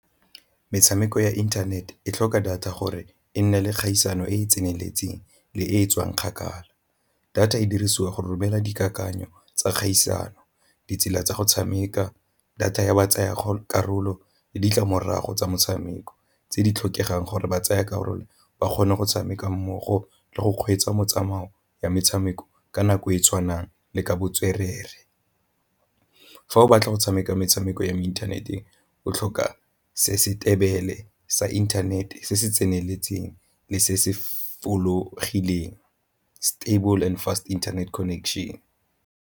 Metshameko ya internet e tlhoka data gore e nne le kgaisano e e tseneletseng le e e tswang kgakala. Data e dirisiwa go romela dikakanyo tsa kgaisano, ditsela tsa go tshameka, data ya ba tsaya karolo le ditlamorago tsa motshameko tse di tlhokegang gore ba tsaya karolo ba kgone go tshameka mmogo le go kgweetsa motsamao ya metshameko ka nako e e tshwanang le ka botswerere. Fa o batla go tshameka metshameko ya mo inthaneteng o tlhoka sa inthanete se se tseneletseng le se se fologileng, stable and fast internet connection.